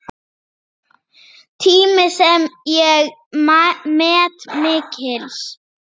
Tími sem ég met mikils.